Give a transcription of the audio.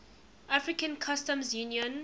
african customs union